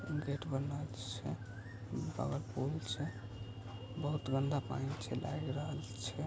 Gate बनल छै बगल में पूल छै बहुत गंदा पानी छै लाग रहल छै।